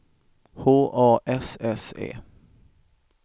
H A S S E